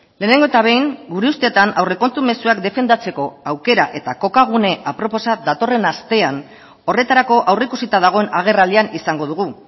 lehenengo eta behin gure ustetan aurrekontu mezuak defendatzeko aukera eta kokagune aproposa datorren astean horretarako aurreikusita dagoen agerraldian izango dugu